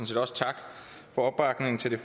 set også tak for opbakningen til